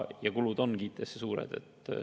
Kulud IT arendamiseks on suured.